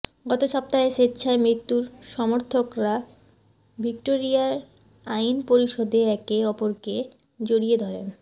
গত সপ্তাহে স্বেচ্ছায় মৃত্যুর সমর্থকরা ভিক্টোরিয়ার আইন পরিষদে একে অপরকে জড়িয়ে ধরেন